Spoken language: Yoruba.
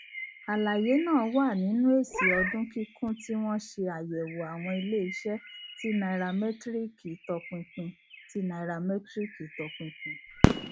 àlàyé náà wà nínú èsì ọdún kíkún tí wọn ṣe àyẹwò àwọn iléiṣẹ tí nairametiriki tọpinpin tí nairametiriki tọpinpin